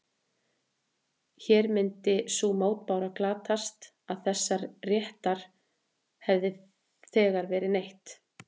Hér myndi sú mótbára glatast að þessa réttar hefði þegar verið neytt.